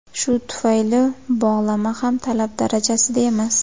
Shu tufayli bog‘lama ham talab darajasida emas.